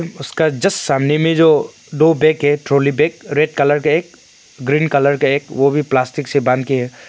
उसका जस्ट सामने में जो दो बैग है ट्राली बैग रेड कलर का एक ग्रीन कलर का एक वो भी प्लास्टिस से बांध के है।